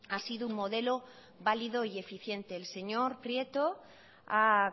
ha sido un modelo válido y eficiente el señor prieto ha